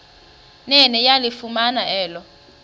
nene yalifumana elo